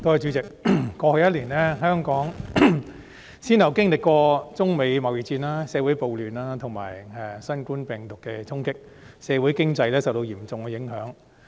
主席，過去一年，香港先後經歷中美貿易戰、社會暴亂和新冠病毒的衝擊，社會經濟受到嚴重的影響。